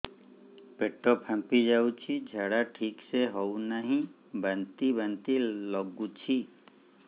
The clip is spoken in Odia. ପେଟ ଫାମ୍ପି ଯାଉଛି ଝାଡା ଠିକ ସେ ହଉନାହିଁ ବାନ୍ତି ବାନ୍ତି ଲଗୁଛି